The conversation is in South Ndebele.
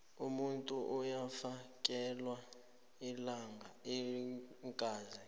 umuntu uyafakelwa iingazi